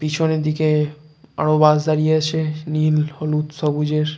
পেছনের দিকে আরো বাস দাঁড়িয়ে আছে নীল হলুদ সবুজের।